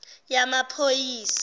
yamaphoyisa